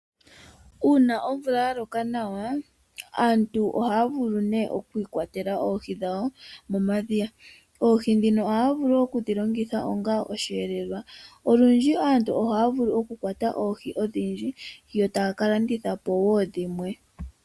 Uuna omvula yaloka nawa aantu ohaa vulu okwiikwatela oohi dhawo momadhiya niitalami yilwe. Oohi ohaya vulu okudhilongitha onga osheelelwa. Olundji aantu ohaya vulu okukwata oohi odhindji yo taya kalandithapo dhimwe.